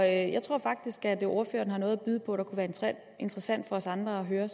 jeg tror faktisk at ordføreren har noget byde på der kunne være interessant for os andre at høre